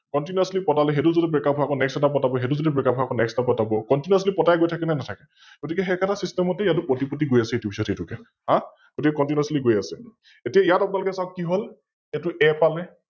Continously পতালে, সৈটো ও যদি Breakup হয় আকৌ Next এটা পতাব, সৈটোও যদি Breakup হয় আকৌ Next এটা পতাব, Continously পতাই গৈ থাকে নে নাথাকে? গতিকে সৈ একেতা System তে ইয়াতো পতি পতি গৈ আছে ইটোৰ পিছত সিটোকে, অ গতিকে Continously গৈ আছে । এতিয়া ইয়াত আপোনালোকে চাওক কি হল এইতো A পালে